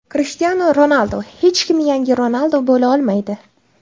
Krishtianu Ronaldu: Hech kim yangi Ronaldu bo‘la olmaydi.